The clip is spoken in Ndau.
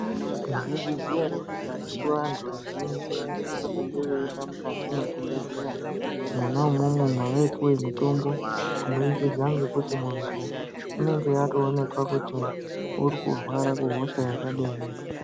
Mwaizviziya ere kuti karetu vantu vazhinji vaisise kunge veienda mukati mezvibhedhleya mwona ,imwomwo mwavaipuwa mutombo kuburikidza ngekuti muntu unenge atoonekwa kuti uri kurwara kuhosha yakadini.